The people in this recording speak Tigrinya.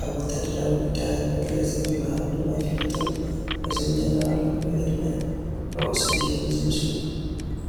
ኣብ ወታደራዊ ጉዳያት መግለፂ ብምሃብ ድማ ይፍለጡ፡፡ እዞም ጀነራል ብዕድመ ንኡስ እዮም ዝመስሉ፡፡